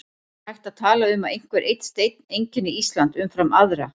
En er hægt að tala um að einhver einn steinn einkenni Ísland umfram aðra?